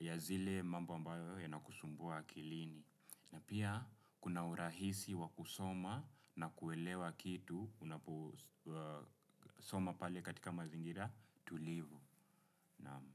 ya zile mambo ambayo yanakusumbua akilini. Na pia kuna urahisi wa kusoma na kuelewa kitu. Unapksoma pale katika mazingira Tulivu. Naam.